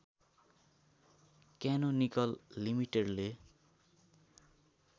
canonical लिमिटेडले